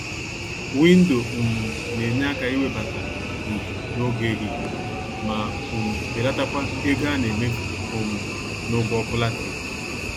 Windo um nenye àkà iwebata ìhè n'oge ehihie ma um belatakwa ego anemefu um n'ụgwọ ọkụ latrik.